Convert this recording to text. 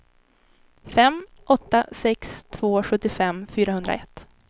fem åtta sex två sjuttiofem fyrahundraett